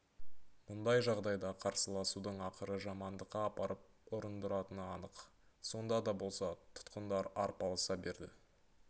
мұндай жағдайда қарсыласудың ақыры жамандыққа апарып ұрындыратыны анық сонда да болса тұтқындар арпалыса берді